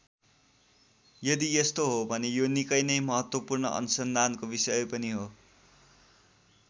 यदि यस्तो हो भने यो निकै नै महत्त्वपूर्ण अनुसन्धानको विषय पनि हो।